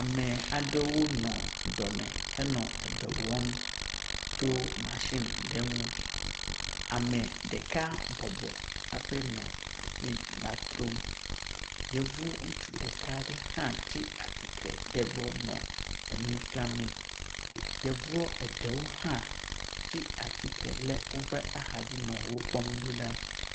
Ame aɖewo nɔ edɔ me henɔ edɔ wɔm tso matsi aɖe ŋu. Ame ɖeka bɔbɔ hafi nɔ matsin la trom. Yevu ŋutsu ɖeka aɖe hã tsi atsitre ɖe gbɔ nɔ enua fiamee. Yevuɔ eɖewo hã tsi atsitre ɖe woƒe axadzi nɔ wo kpɔm ɖo ɖa.